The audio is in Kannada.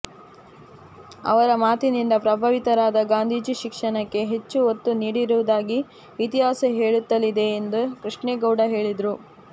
ಅವರ ಮಾತಿನಿಂದ ಪ್ರಭಾವಿತರಾದ ಗಾಂಧೀಜಿ ಶಿಕ್ಷಣಕ್ಕೆ ಹೆಚ್ಚು ಒತ್ತು ನೀಡಿರುವುದಾಗಿ ಇತಿಹಾಸ ಹೇಳುತ್ತಲಿದೆ ಎಂದು ಕೃಷ್ಣೇಗೌಡ ಹೇಳಿದರು